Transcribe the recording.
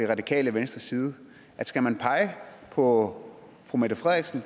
radikale venstres side at skal man pege på fru mette frederiksen